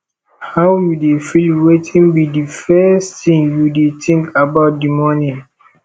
how you dey feel wetin be di first thing you dey think about di morning